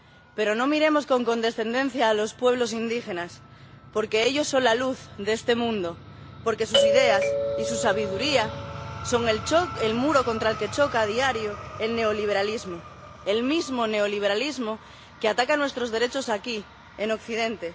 Pero no miremos con condescendencia a los pueblos indígenas, porque ellos son la luz de este mundo, porque sus ideas y su sabiduría son el muro contra el que choca a diario el neoliberalismo, el mismo neoliberalismo que ataca nuestros derechos aquí, en Occidente.